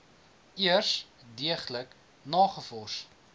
eers deeglik nagevors